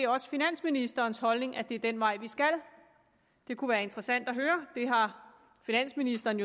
og finansministerens holdning at det er den vej vi skal det kunne være interessant at høre finansministeren